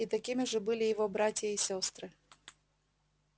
и такими же были его братья и сестры